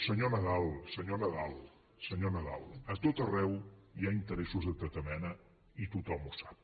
senyor nadal senyor nadal a tot arreu hi ha interessos de tota mena i tothom ho sap